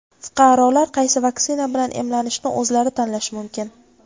Fuqarolar qaysi vaksina bilan emlanishni o‘zlari tanlashi mumkin.